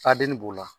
Faden b'o la